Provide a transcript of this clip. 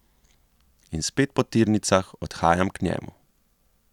In spet po tirnicah odhajam k njemu.